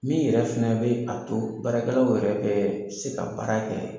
Min yɛrɛ fɛnɛ bɛ a to baarakɛlaw yɛrɛ bɛ se ka baara kɛ